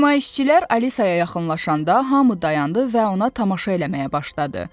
Nümayişçilər Alisaya yaxınlaşanda hamı dayandı və ona tamaşa eləməyə başladı.